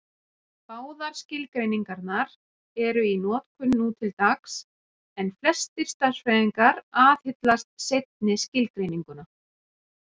Báðar skilgreiningarnar eru í notkun nú til dags, en flestir stærðfræðingar aðhyllast seinni skilgreininguna.